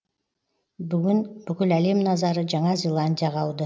бүгін бүкіл әлем назары жаңа зеландияға ауды